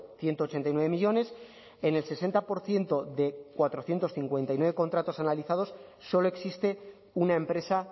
ciento ochenta y nueve millónes en el sesenta por ciento de cuatrocientos cincuenta y nueve contratos analizados solo existe una empresa